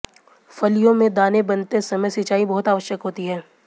फलियों में दाने बनते समय सिंचाई बहुत आवश्यक होती है